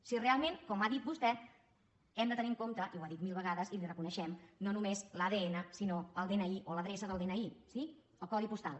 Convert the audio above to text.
si realment com ha dit vostè hem de tenir en compte i ho ha dit mil vegades i li ho reconeixem no només l’adn sinó el dni o l’adreça del dni sí el codi postal